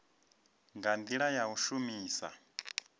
nga ndila ya u shumisa